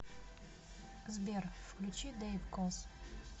сбер включи дэйв коз